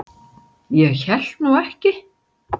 Ég hélt nú ekki.